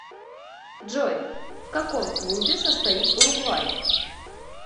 джой в каком клубе состоит уругвай